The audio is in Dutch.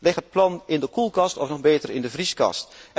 Leg het plan in de koelkast, of nog beter in de vrieskast.